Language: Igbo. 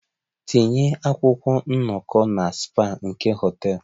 Tinye akwụkwọ nnọkọ na spa nke hotel!